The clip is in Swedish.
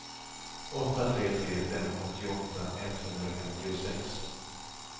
åtta tre tre fem åttioåtta etthundrafemtiosex